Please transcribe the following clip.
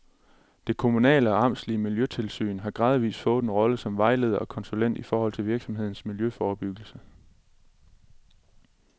Det kommunale og amtslige miljøtilsyn har gradvis fået en rolle som vejleder og konsulent i forhold til virksomhedernes miljøforbyggelse.